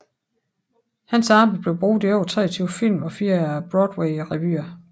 Hans arbejde blev brugt i over 23 film og fire Broadwayrevyer